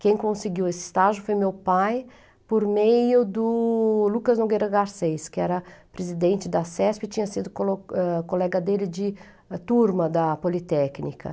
Quem conseguiu esse estágio foi meu pai, por meio do Lucas Nogueira Garcês, que era presidente da SESP e tinha sido colo ãh colega dele de turma da Politécnica.